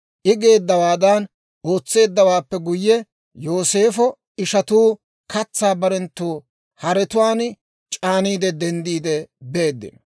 I geeddawaadan ootseeddawaappe guyye, Yooseefo ishatuu katsaa barenttu haretuwaan c'aaniide, denddiide beeddino.